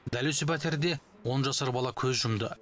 дәл өсі пәтерде он жасар бала көз жұмды